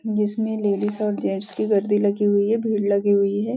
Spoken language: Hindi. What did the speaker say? जिसमे लेडीज और जेंट्स की गर्दि लगी हुई है भीड़ लगी हुई है।